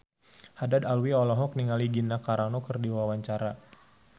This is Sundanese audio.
Haddad Alwi olohok ningali Gina Carano keur diwawancara